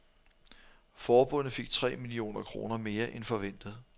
Forbundet fik tre millioner kroner mere end forventet.